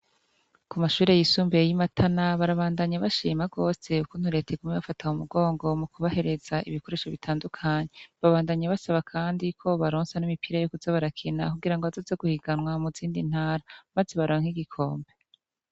Kumashure yisumbuye y' imatana barabandanya bashimira gose ukuntu reta iguma ibafata mumugongo mukubahereza ibikoresho bitandukanye babandanya basaba kandi ko bobaronsa n' imipira yo kuza barakina kugira bazoze guhiganwa muzindi ntara maze baronke igikombe.